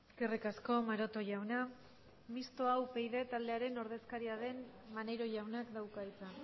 eskerrik asko maroto jauna mistoa upyd taldearen ordezkaria den maneiro jaunak dauka hitza